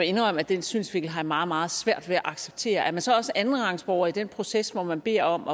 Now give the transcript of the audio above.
indrømme at den synsvinkel har jeg meget meget svært ved at acceptere er man så også andenrangsborger i den proces hvor man beder om